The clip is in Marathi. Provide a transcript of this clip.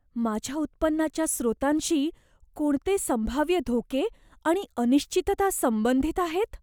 माझ्या उत्पन्नाच्या स्रोतांशी कोणते संभाव्य धोके आणि अनिश्चितता संबंधित आहेत?